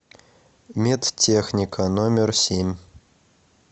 медтехника номер семь